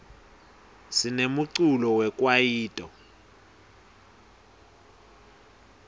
sinemculo we kwayito